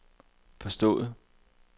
forstået